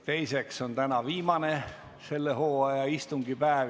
Teiseks on täna viimane selle hooaja istungipäev.